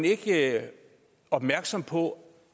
ikke opmærksom på